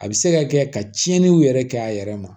A bɛ se ka kɛ ka tiɲɛniw yɛrɛ kɛ a yɛrɛ ma